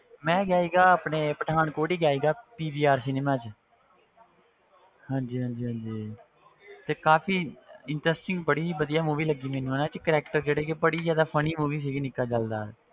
ਮੈਂ ਗਿਆ ਸੀਗਾ ਆਪਣੇ ਪਠਾਨਕੋਟ ਹੀ ਗਿਆ ਸੀਗਾ PVR cinema ਵਿੱਚ ਹਾਂਜੀ ਹਾਂਜੀ ਹਾਂਜੀ ਤੇ ਕਾਫ਼ੀ interesting ਬੜੀ ਵਧੀਆ movie ਲੱਗੀ ਮੈਨੂੰ ਉਹਨਾਂ ਵਿੱਚ character ਜਿਹੜੇ ਕਿ ਬੜੀ ਜ਼ਿਆਦਾ funny movie ਸੀਗੀ ਨਿੱਕਾ ਜੈਲਦਾਰ,